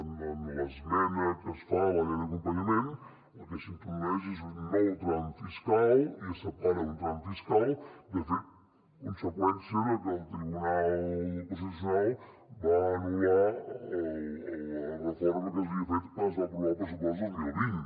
en l’esmena que es fa a la llei d’acompanyament el que s’introdueix és un nou tram fiscal i es separa un tram fiscal de fet conseqüència de que el tribunal constitucional va anul·lar la reforma que s’havia fet quan es va aprovar el pressupost dos mil vint